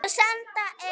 En hvar á að byrja?